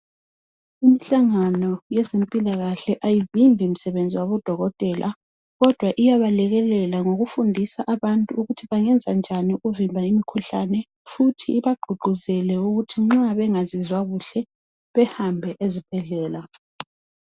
Imihlangano yezempilakahle ayivimbi msebenzi wabodokotela kodwa iyaba lekelela ngokufundisa abantu ukuthi bengenza njani ukuvimba imikhuhlane futhi ibagqugquzele ukuthi nxa bengazizwa kuhle bahambe ezibhedlela.